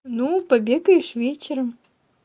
ну побегаешь вечером